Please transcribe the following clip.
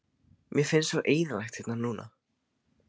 Mér finnst svo eyðilegt hérna núna.